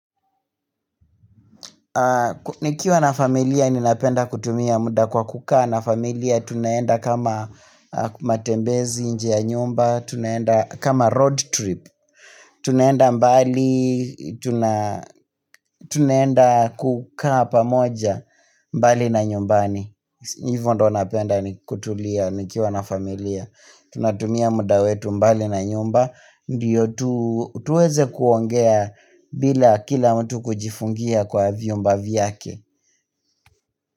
Nikiwa na familia ninapenda kutumia muda kwa kukaa na familia tunaenda kama matembezi nje ya nyumba, tunaenda kama road trip, tunaenda mbali, tunaenda kukaa pamoja mbali na nyumbani. Hivyo ndo napenda ni kutulia nikiwa na familia. Tunatumia muda wetu mbali na nyumba ndiyo tuweze kuongea bila kila mtu kujifungia kwa vyumba vyake.